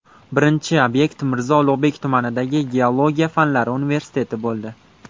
Birinchi obyekt Mirzo Ulug‘bek tumanidagi Geologiya fanlari universiteti bo‘ldi.